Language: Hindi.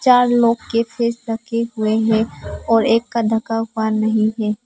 चार लोग के फेस ढके हुए हैं और एक का ढका हुआ नहीं है।